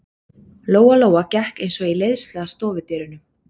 Lóa-Lóa gekk eins og í leiðslu að stofudyrunum.